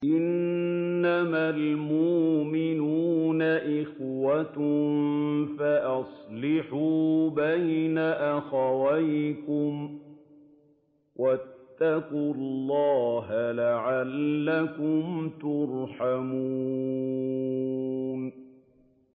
إِنَّمَا الْمُؤْمِنُونَ إِخْوَةٌ فَأَصْلِحُوا بَيْنَ أَخَوَيْكُمْ ۚ وَاتَّقُوا اللَّهَ لَعَلَّكُمْ تُرْحَمُونَ